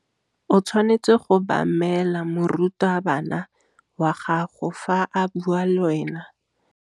O tshwanetse go obamela morutabana wa gago fa a bua le wena.